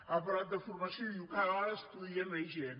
ha parlat de formació i diu cada vegada estudia més gent